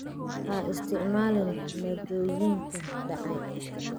Ha isticmaalin maaddooyinka dhacay.